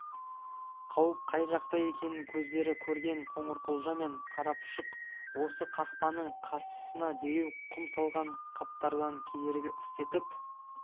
қауіп қай жақта екенін көздері көрген қоңырқұлжа мен қарапұшық осы қақпаның қарсысына дереу құм салған қаптардан кедергі істетіп